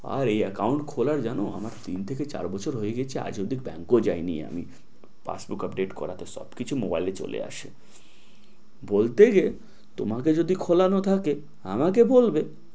আর এই account খোলার জানো আমার তিন থেকে চার বছর হয়ে গেছে আজ অব্দি bank এও যায় নি আমি pass book update করাতে সবকিছু mobile এ চলে আসে বলতে যে তোমাকে যদি খোলানো থাকে আমাকে বলবে